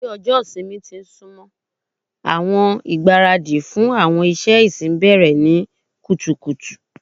Bi ọjọ ìsinmi ti n sunmọ, awọn igbaradi fun awọn iṣẹ ẹsin bẹrẹ ni kutukutu